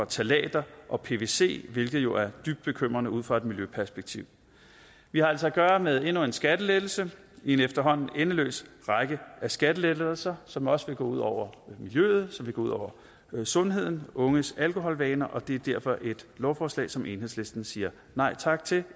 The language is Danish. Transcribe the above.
ftalater og pvc hvilket jo er dybt bekymrende ud fra et miljøperspektiv vi har altså at gøre med endnu en skattelettelse i en efterhånden endeløs række af skattelettelser som også vil gå ud over miljøet som vil gå ud over sundheden og unges alkoholvaner og det er derfor et lovforslag som enhedslisten siger nej tak til